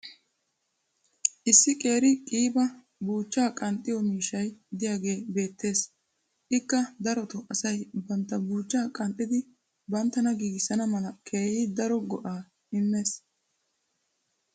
issi qeeri qiiba buuchchaa qanxxiyo miishshay diyaagee beetees. ikka darotoo asay bantta buuchchaa qanxxidi banttana giigissana mala keehi daro go'aaa immoosona.